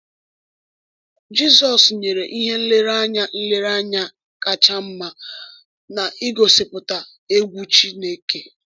Jizọs nyere ihe nlereanya nlereanya kacha mma n’ịgosipụta “egwu Chineke.”